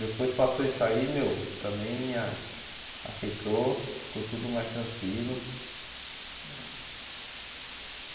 Depois passou isso aí, meu, também a aqueceu, ficou tudo mais tranquilo.